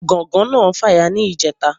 Gángan náà fàya ní ìjẹta